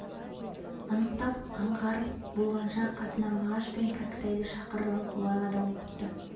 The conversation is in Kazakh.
анықтап аңғарып болғанша қасына мағаш пен кәкітайды шақырып алып оларға да оқытты